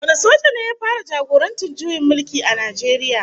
Wane soja ne ya fara jagorantar juyin mulki a Najeriya?